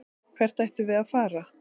Hvert ættum við að fara?